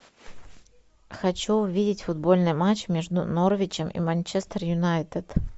хочу увидеть футбольный матч между норвичем и манчестер юнайтед